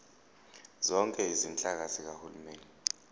zonke izinhlaka zikahulumeni